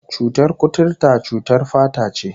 Cutar kuturta cutar fata ce